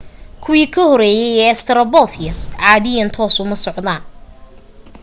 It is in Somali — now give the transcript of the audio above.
kuwii ka horeeyay ee australopithecus caadiyan toos uma socdaan